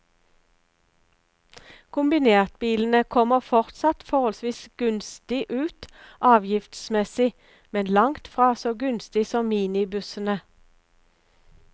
Kombinertbilene kommer fortsatt forholdsvis gunstig ut avgiftsmessig, men langt fra så gunstig som minibussene.